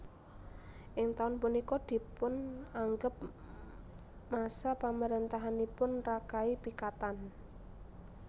Ing taun punika dipun anggep masa pamarentahanipun Rakai Pikatan